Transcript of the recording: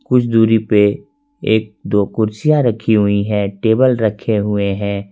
कुछ दूरी पे एक दो कुर्सियां रखी हुई है टेबल रखे हुए हैं।